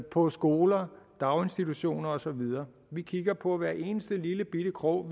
på skolerne daginstitutionerne og så videre vi kigger på hver eneste lillebitte krog